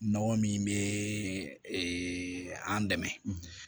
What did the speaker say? Nɔgɔ min bɛ an dɛmɛ